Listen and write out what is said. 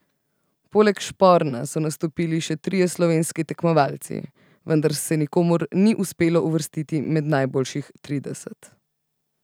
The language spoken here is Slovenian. Poleg Šporna so nastopili še trije slovenski tekmovalci, vendar se nikomur ni uspelo uvrstiti med najboljših trideset.